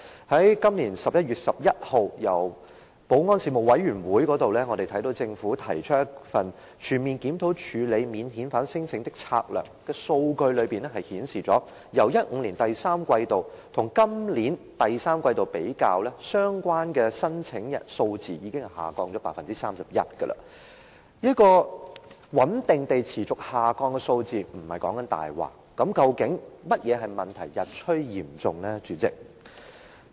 在今年11月11日，保安事務委員會提出一份"全面檢討處理免遣返聲請的策略"，當中的數據顯示，將2015年第三季度跟今年第三季度比較，相關的申請數字已經下降 31%， 這個穩定地持續下降的數字並不是謊話，那麼，主席，何謂"問題日趨嚴重"呢？